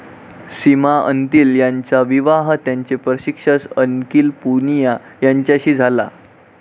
सीमा अंतिल यांचा विवाह त्यांचे प्रशिक्षक अंकिल पुनिया यांच्याशी झाला.